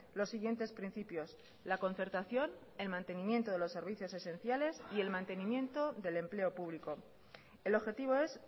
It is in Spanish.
los siguientes principios la concertación el mantenimiento de los servicios esenciales y el mantenimiento del empleo público el objetivo es